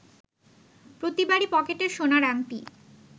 প্রতিবারই পকেটের সোনার আংটি